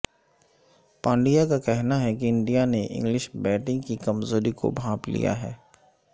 پانڈیا کا کہنا ہے کہ انڈیا نے انگلش بیٹنگ کی کمزوری کو بھانپ لیا ہے